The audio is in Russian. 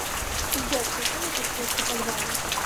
сбер включи мне подсветку подвала